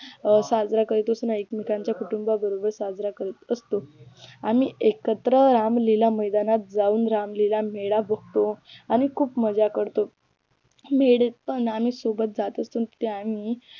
अं साजरा करत असतो एकमेकांच्या कुटुंबाबरोबर साजरा करत असतो आम्ही एकत्र रामलीला मैदानात जाऊन रामलीला मेळा बघतो आणि खूप मज्जा करतो मेळ्यात पण आम्ही सोबत जात असून आम्ही